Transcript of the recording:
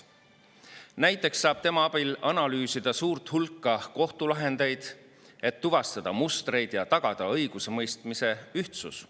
Näiteks saab tema abil analüüsida suurt hulka kohtulahendeid, et tuvastada mustreid ja tagada õigusemõistmise ühtsus.